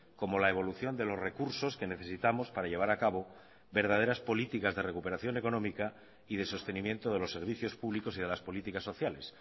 como la evolución de los recursos que necesitamos para llevar a cabo verdaderas políticas de recuperación económica y de sostenimiento de los servicios públicos y de las políticas sociales